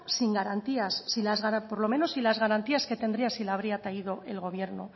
sin garantía por lo menos sin las garantías que tendría si la habría traído el gobierno